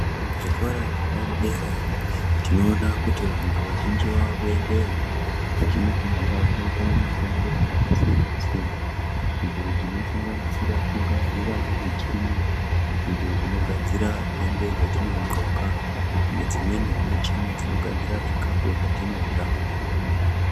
Muzvikora zvepadera tinoona kuti vantu vazhinji vakuendeyo vachinofundira kuita mishando yakasiyana-siyana. Idzo dzinosanganisira kugadziravo michini, idzodzinogadzira hembe dzatinodxoka nedzimwenivo michini dzinogadziravo zvikafu zvatinorya.